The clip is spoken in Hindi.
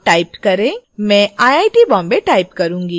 मैं iit bombay type करुँगी